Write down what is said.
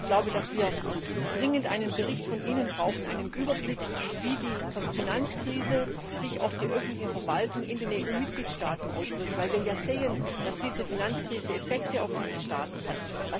Ich glaube, dass wir dringend einen Bericht von Ihnen brauchen, einen Überblick, wie die Finanzkrise sich auf die öffentliche Verwaltung in den EU Mitgliedstaaten auswirkt, weil wir ja sehen, dass diese Finanzkrise Effekte auf diese Staaten hat.